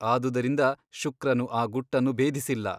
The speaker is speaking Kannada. ಆದುದರಿಂದ ಶುಕ್ರನು ಆ ಗುಟ್ಟನ್ನು ಭೇದಿಸಿಲ್ಲ.